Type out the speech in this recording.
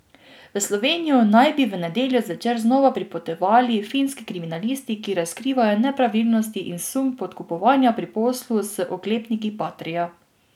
V Slovenijo naj bi v nedeljo zvečer znova pripotovali finski kriminalisti, ki razkrivajo nepravilnosti in sum podkupovanja pri poslu z oklepniki patria.